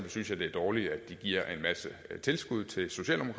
synes jeg det er dårligt at de giver en masse tilskud til